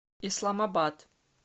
исламабад